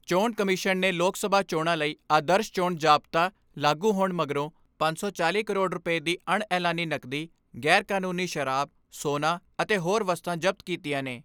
ਚੋਣ ਕਮਿਸ਼ਨ ਨੇ ਲੋਕ ਸਭਾ ਚੋਣਾਂ ਲਈ ਆਦਰਸ਼ ਚੋਣ ਜ਼ਾਬਤਾ ਲਾਗੂ ਹੋਣ ਮਗਰੋਂ ਪੰਜ ਸੌ ਚਾਲ੍ਹੀ ਕਰੋੜ ਰੁਪਏ ਦੀ ਅਣ ਐਲਾਨੀ ਨਕਦੀ, ਗੈਰਕਾਨੂੰਨੀ ਸ਼ਰਾਬ, ਸੋਨਾ ਅਤੇ ਹੋਰ ਵਸਤਾਂ ਜ਼ਬਤ ਕੀਤੀਆਂ ਨੇ।